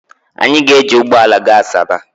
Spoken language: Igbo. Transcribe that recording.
Anyị ga-eji ụgbọala gaa Asaba.